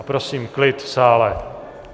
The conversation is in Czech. A prosím klid v sále.